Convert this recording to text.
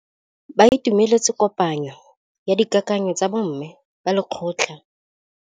Ba itumeletse kôpanyo ya dikakanyô tsa bo mme ba lekgotla.